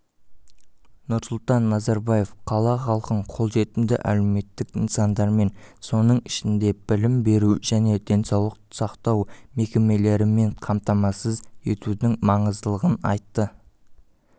нұрсұлтан назарбаев қала халқын қолжетімді әлеуметтік нысандармен соның ішінде білім беру және денсаулық сақтау мекемелерімен қамтамасыз етудің маңыздылығын айтты